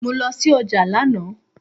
Mo lọ sí ọjà lánàá